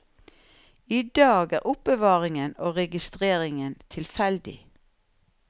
I dag er er oppbevaringen og registreringen tilfeldig.